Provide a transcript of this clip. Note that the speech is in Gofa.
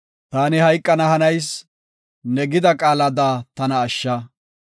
Taani hayqana hanayis; ne gida qaalada tana ashsha.